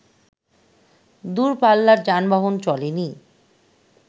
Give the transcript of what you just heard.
দুরপাল্লার যানবহন চলেনি